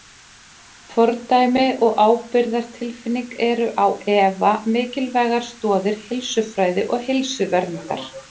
Fordæmi og ábyrgðartilfinning eru á efa mikilvægar stoðir heilsufræði og heilsuverndar.